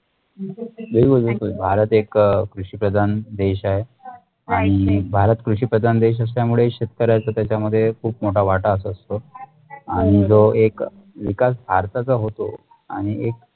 बिलकुल बिलकुल भारत एक कृषिप्रदान देश आहे आणि भारत कृषिप्रदान देश असल्यामुळे शेतकऱ्याचं त्याचा मध्ये खुप मोटा वाटाच असतो आणि जो एक विकास भारताचा होतो आणि एक